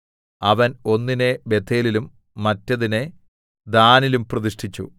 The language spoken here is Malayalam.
അവൻ ഒന്നിനെ ബേഥേലിലും മറ്റേതിനെ ദാനിലും പ്രതിഷ്ഠിച്ചു